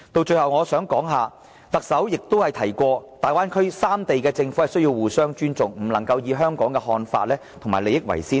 最後我想談談特首曾提及大灣區三地的政府需要互相尊重，不能以香港的看法和利益為先的問題。